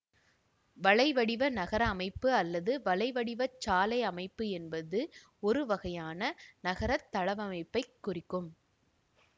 வலைவடிவ நகர அமைப்பு அல்லது வலைவடிவச் சாலை அமைப்பு என்பது ஒரு வகையான நகர தளவமைப்பைக் குறிக்கும்